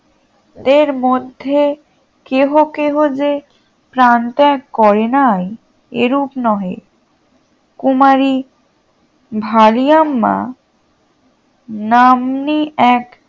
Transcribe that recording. এর মধ্যে কেহ কেহ যে প্রাণত্যাগ করে নাই এরূপ নহে কুমারি ভারিয়াম্মা নাম্নী এক